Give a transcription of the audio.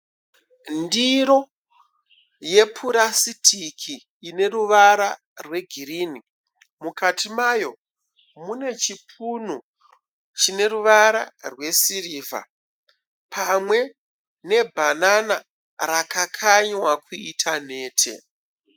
Ndiro yepurasitiki ine ruvara rwegirini. Mukati mayo mune chipunu chine ruvara rwesirivha pamwe nebhanana rakakanywa kuita nhete.